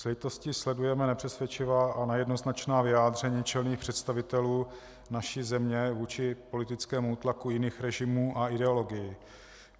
S lítostí sledujeme nepřesvědčivá a nejednoznačná vyjádření čelných představitelů naší země vůči politickému útlaku jiných režimů a ideologií.